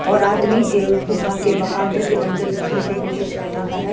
और आदमी गुफा के बाहर है जो अंदर घुसने की कोशिश कर रहा है।